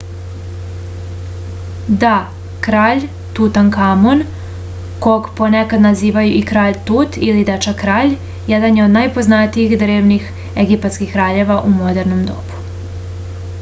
da kralj tutankamon kog ponekad nazivaju i kralj tut ili dečak kralj jedan je od najpoznatijih drevnih egipatskih kraljeva u modernom dobu